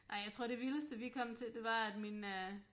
Ej jeg tror det vildeste vi kom til det var at min øh